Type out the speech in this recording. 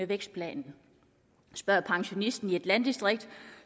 vækstplanen spørg pensionisten i et landdistrikt